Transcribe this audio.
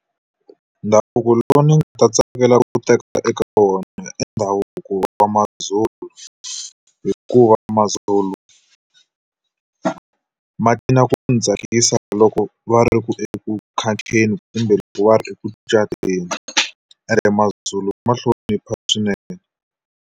Ndhavuko lowu ni nga ta tsakelaka ku teka eka wona i ndhavuko wa maZulu. Hikuva maZulu ku ni tsakisa loko va ri eku kumbe loko va ri eku cateni. Ene maZulu ma hlonipha swinene.